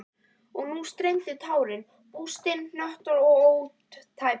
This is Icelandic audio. Og nú streymdu tárin, bústin, hnöttótt og ótæpileg.